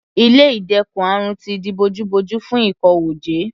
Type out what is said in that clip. Ilé ìdẹ́kun àrùn ti di bojú bojú fún ìkówójẹ.